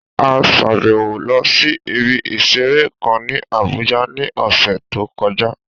A sàbẹ̀wo lọ sí ibi ìseré kan ní Abùjá ní ọ̀sẹ̀ tó kọjá